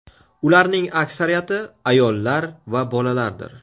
Ularning aksariyati ayollar va bolalardir.